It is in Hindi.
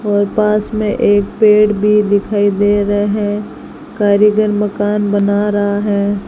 और पास में एक पेड़ भी दिखाई दे रहे कारीगर मकान बना रहा है।